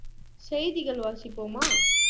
செய்திகள் வாசிப்போமா